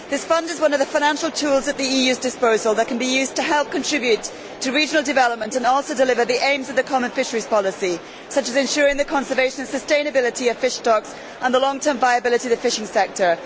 This Fund is one of the financial tools at the EU's disposal that can be used to help contribute to regional development and also deliver the aims of the common fisheries policy, such as ensuring the conservation and sustainability of fish stocks and the long term viability of the fishing sector.